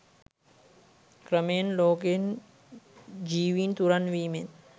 ක්‍රමයෙන් ලෝකයෙන් ජීවින් තුරන් වීමෙන්